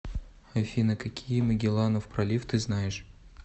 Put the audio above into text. афина какие магелланов пролив ты знаешь